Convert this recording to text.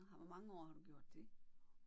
Og hvor mange år har du gjort det?